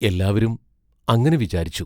എല്ലാവരും അങ്ങനെ വിചാരിച്ചു.